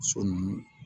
So nunnu